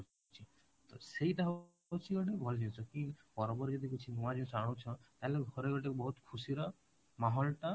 ତ ସେଇଟା ହଉଛି ଗୋଟେ ଭଲ ଜିନିଷ କି ପର୍ବ ରେ ଯଦି କିଛି ନୂଆ ଜିନିଷ ଆଣୁଛ ତାହେଲେ ଘରେ ଗୋଟେ ବହୁତ ଖୁସିର ଟା